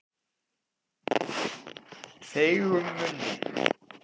Feigum munni